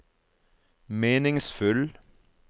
meningsfull